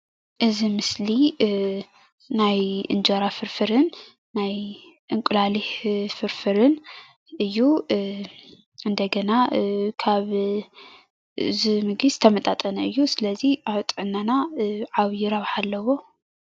እዚ ምስሊ ናይ እንጀራ ፍርፍርን ናይ አንቁላሊሕ ፍርፍርን እዩ፡፡ እንደገና ካብ እዚ ምግቢ ዝተመጣጠነ እዩ፡፡ ስለዚ ኣብ ጥዕናና ዓብይ ረብሓ ኣለዎ፡፡